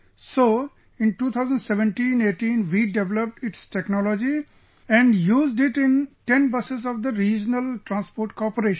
So, in 201718 we developed its technology and used it in 10 buses of the Regional Transport Corporation